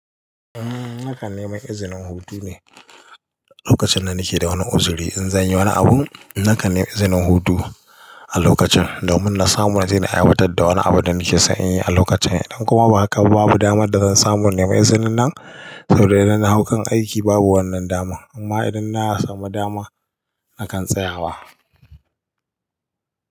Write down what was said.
Eh nakan nemi izinin hutu ne. Lokacin da nake da wani arziki in zan yi wani abu, nakan nemi izinin hutu a lokacin, domin na samu wani abu da na samu naje na aiwatar fitar da wani abu da nake son inyi a lokacin. Idan kuma ba hakaba babu damar da zan samu na nemi izinin nan saboda idan na hau kan aiki babu wannan daman. Amma idan na samu dama nakan tsayawa.